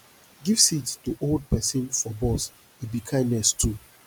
give seat to old pesin for bus e be kindness too